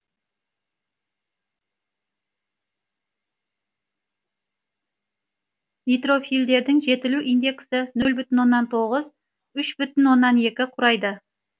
нейтрофильдердің жетілу индексі нөл бүтін оннан тоғыз үш бүтін оннан екі құрайды